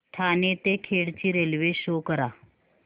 ठाणे ते खेड ची railway show करा